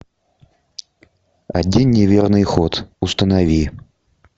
один неверный ход установи